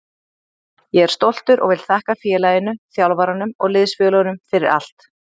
Ég er stoltur og vil þakka félaginu, þjálfaranum og liðsfélögunum fyrir allt.